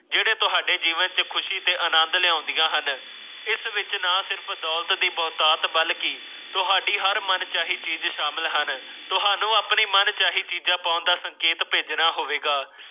ਤੁਹਾਡੇ ਜੀਵਨ ਤੋਂ ਖ਼ੁਸ਼ੀ ਤੇ ਆਨੰਦ ਲਿਆਉਂਦੀਆਂ ਹਨ ਜੰਗਲਾਂ ਤੇ ਭਗਤ ਦੀ ਔਲਾਦ ਬਲਕਿ ਤੁਹਾਡੀ ਜਾਣਕਾਰੀ ਲਈ ਮੁਕਾਬਲਾ ਕਰਨਾ ਚਾਹੀਦਾ ਹੈ ਭੇਜਣਾ ਹੋਵੇਗਾ